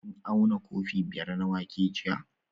Kun auna kofi biyar na wake jiya?